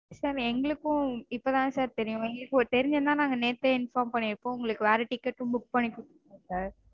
Sir எங்களுக்கும் இப்போதா sir தெரியும். தெரிஞ்சிருந்தா எங்களுக்கு தெரிஞ்சிருந்தா நாங்க நேத்தே inform பண்ணிருப்போம் உங்களுக்கு வேற ticket -ம் book பண்ணி கொடுத்திருப்போம் sir